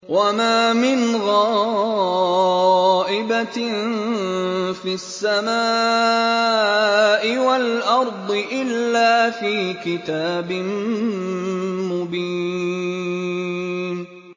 وَمَا مِنْ غَائِبَةٍ فِي السَّمَاءِ وَالْأَرْضِ إِلَّا فِي كِتَابٍ مُّبِينٍ